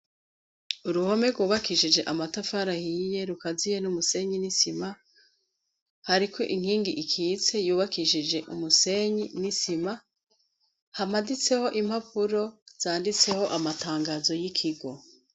Uruhome rwubakishije amatafarahiye rukaziye n'umusenyi n'isima hariko inkingi ikitse yubakishije umusenyi n'isima hamaditseho impapuro zanditseho amatangazo y'ikigo.